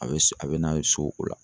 A be, a be na ye so o la.